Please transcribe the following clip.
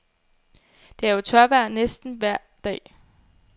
Det er jo tørvejr næsten vejr dag.